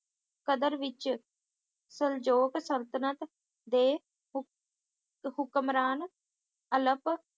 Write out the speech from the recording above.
ਸਦਰ ਵਿੱਚ ਸੁਲਜੋਤ ਸਲਤਨਤ ਦੇ ਹੂਕ`ਹੁਕਮਰਾਨ ਅਲਕ